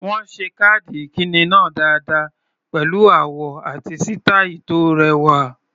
Wọ́n ṣe káàdì ìkíni náà dáadáa pẹ̀lú àwọ̀ àti sítàì tó rẹwà.